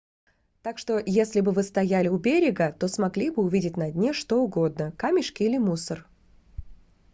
так что если бы вы стояли у берега то смогли бы увидеть на дне что угодно камешки или мусор